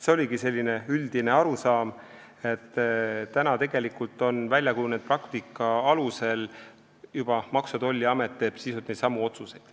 See oli üldine arusaam, et väljakujunenud praktika alusel teeb Maksu- ja Tolliamet sisuliselt neidsamu otsuseid.